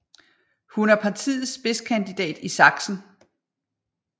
Hun er partiets spidskandidat i Sachsen